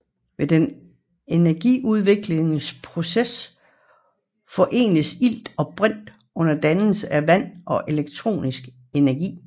Ved den energiudviklende proces forenes ilt og brint under dannelse af vand og elektrisk energi